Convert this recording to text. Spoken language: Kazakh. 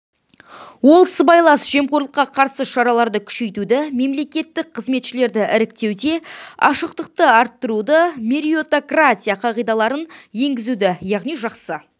ол сыбайлас жемқорлыққа қарсы шараларды күшейтуді мемлекеттік қызметшілерді іріктеуде ашықтықты арттыруды меритократия қағидаларын енгізуді яғни жақсы